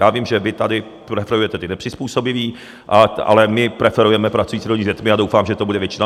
Já vím, že vy tady preferujete ty nepřizpůsobivé, ale my preferujeme pracující rodiče s dětmi, a doufám, že to bude většina.